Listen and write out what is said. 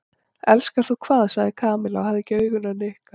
Elskar þú hvað? sagði Kamilla og hafði ekki augun af Nikka.